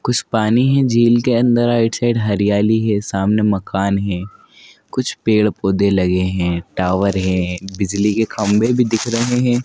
कुछ पानी है झील के अंदर आइड साइड हरियाली है सामने मकान हैं कुछ पेड़ पौधे लगे हैं टावर हैं बिजली के खंभे भी दिख रहे हैं।